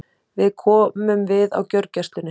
Við komum við á gjörgæslunni.